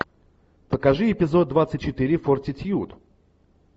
покажи эпизод двадцать четыре фортитьюд